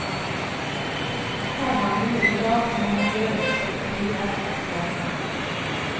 Har man noe i lag, må man gjøre så folk trives, sier han.